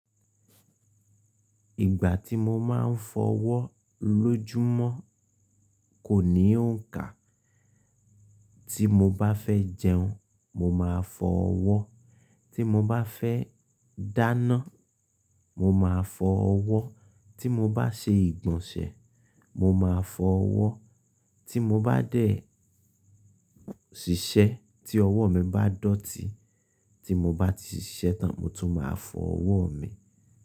Ìgbà tí mo máa ń fọ ọwọ́ lójúmọ́ kò ní òǹkà. Tí mo bá fẹ́ jẹun, mo máa fọ ọwọ́, tí mo bá fẹ́ dáná, mo máa fọ ọwọ́, tí mo bá ṣe ìgbọ̀nsẹ̀, mo máa fọ ọwọ́, tí mo bá dẹ̀ ṣiṣẹ́ tí ọwọ́ mi bá dọ̀tí, tí mo bá ti ṣiṣẹ́ tán mo tún máa fọ ọwọ́ mi.